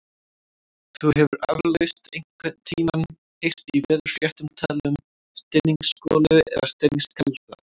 Þú hefur eflaust einhvern tímann heyrt í veðurfréttum talað um stinningsgolu eða stinningskalda.